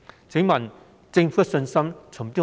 請問政府的信心從何而來？